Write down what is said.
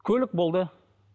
көлік болды